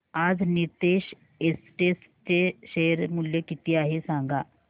आज नीतेश एस्टेट्स चे शेअर मूल्य किती आहे सांगा